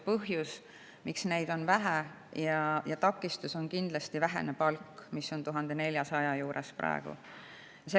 Põhjus, miks on vähe, on kindlasti väike palk, mis on praegu 1400 euro juures.